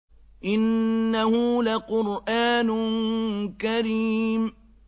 إِنَّهُ لَقُرْآنٌ كَرِيمٌ